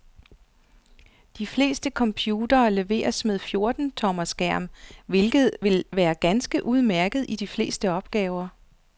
De fleste computere leveres med fjorten tommer skærm, hvilket vil være ganske udmærket til de fleste opgaver.